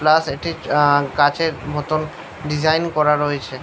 Plus এটি আ- কাঁচের মতো ডিজাইন করা রয়েছে।